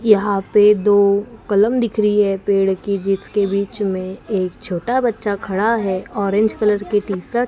यहां पे दो कलम दिख रही है पेड़ की जिसके बीच मे एक छोटा बच्चा खड़ा है ऑरेंज कलर की टी शर्ट --